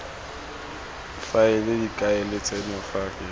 faela difaele tseno ke tsa